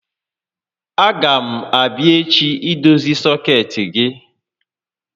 A gá m abịa echi idozi sọkeetị gị